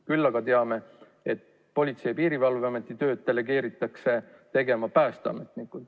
Küll aga teame, et Politsei- ja Piirivalveameti tööd delegeeritakse tegema Päästeamet.